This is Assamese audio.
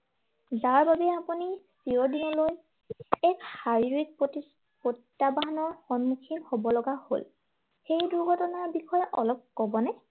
যাৰবাবে আপুনি চিৰদিনলৈ এই শাৰিৰীক প্ৰতি প্ৰত্য়াহ্বানৰ সন্মুখীন হব লগা হল। সেই দূৰ্ঘটনাৰ বিষয়ে অলপ কবনে?